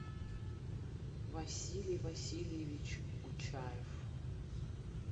василий васильевич учаев